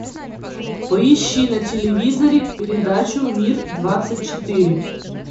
поищи на телевизоре передачу мир двадцать четыре